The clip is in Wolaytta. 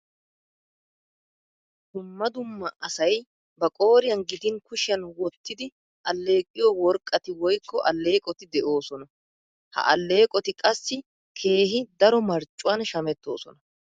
Dumma dumma asay ba qooriyan gidin kushiyan wottidi alleeqiyo worqqati woykko alleeqoti de'oosona. Ha alleeqoti qassi keehi daro marccuwan shamettoosona.